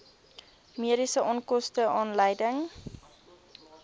mediese onkoste aanleiding